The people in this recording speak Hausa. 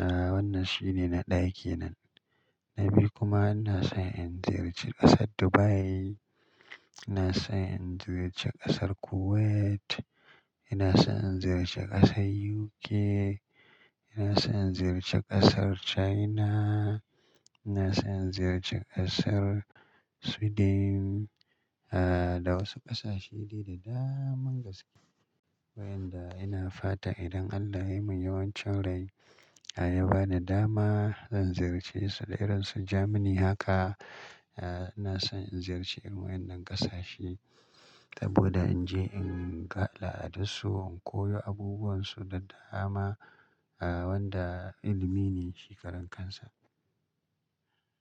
A wannan shine na ɗaya kenan. Na biyu kuma ina son in ziyarci ƙasar Dubai, ina son in ziyarci ƙasar Kuwait, ina son in ziyarci ƙasar UK, ina son in ziyarci ƙasar China, ina son in ziyarci ƙasar Sweden, a da wasu ƙasashe de d daman gaske. Wayanda ina fatan idan Allah ya yi min yawancin rai, ya ba ni dama, zan ziyarce su da iransu Jamani haka. A ina son in ziyarci irin wayannan ƙasashe saboda in je in ga al'adunsu, in koyo abubuwansu da dama, a wanda ilimi ne shi karan kansa.